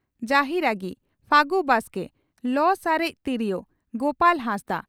ᱡᱟᱦᱤᱨᱟᱺᱜᱤ (ᱯᱷᱟᱹᱜᱩ ᱵᱟᱥᱠᱮ) ᱞᱚ ᱥᱟᱨᱮᱡ ᱛᱚᱨᱭᱳ (ᱜᱳᱯᱟᱞ ᱦᱟᱸᱥᱫᱟᱜ)